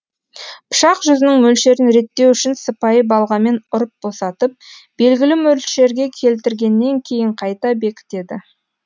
пышақ жүзінің мөлшерін реттеу үшін сыпайы балғамен ұрып босатып белгілі мөлшерге келтіргеннен кейін қайта бекітеді